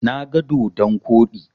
Na ga dodon koɗi.